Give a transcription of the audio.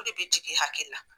Olu de be jigin e hakilli la